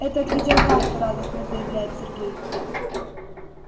это от видеокарты радостно заявляет сергей